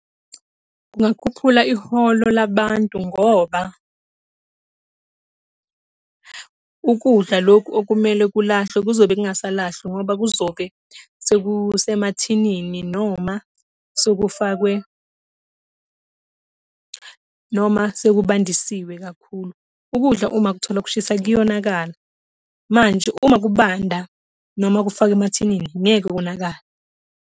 Kungakhuphula iholo labantu ngoba ukudla lokhu okumele kulahlwe kuzobe kungasalahlwa ngoba kuzobe sekusemathinini noma sekufakwe, noma sekubandisiwe kakhulu. Ukudla uma ukuthola kushisa kuyonakala, manje uma kubanda noma kufakwe emathinini ngeke konakale.